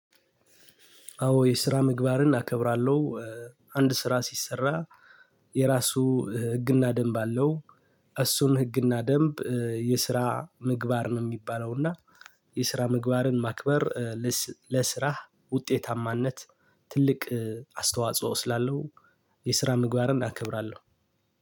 አዎ የስራ ምግባርን አከብራለሁ። አንድ ስራ ሲሰራ የራሱ ህግና ደንብ አለው። እሱን ህግና ደንብ የስራ ምግባር ነው የሚባለው። እና የስራ ምግባርን ማክበር ለስራህ ውጤታማነት ትልቅ አስተዋጽኦ ስላለው። የስራ ምግባርን አከብራለሁ።